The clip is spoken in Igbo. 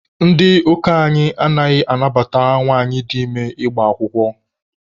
Ndị ụka anyị anaghị anabata nwanyị dị ime ịgba akwụkwọ.